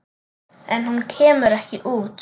En hún kemur ekki út.